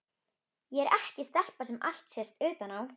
Ég er ekki stelpa sem allt sést utan á.